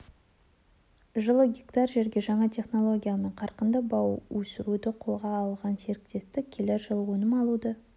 жылы гектар жерге жаңа технологиямен қарқынды бау өсіруді қолға алған серіктестік келер жылы өнім алуды